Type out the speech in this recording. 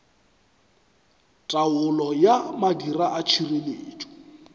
taolo ya madira a tšhireletšo